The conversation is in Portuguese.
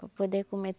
Para poder comer.